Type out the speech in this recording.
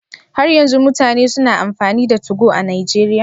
Har yanzu mutane suna amfani da Tugo a Najeriya?